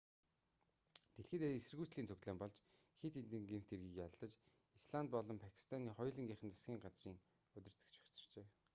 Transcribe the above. дэлхий даяар эсэргүүцлийн цуглаан болж хэд хэдэн гэмт хэргийг яллаж исланд болон пакистаны хоёулангийнх нь засгийн газрын удирдагч огцорчээ